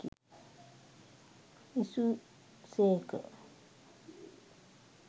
විසූ සේක.